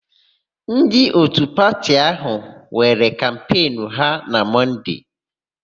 Ndị òtù pati áhụ̀ nwere kampenụ ha na Mọnde.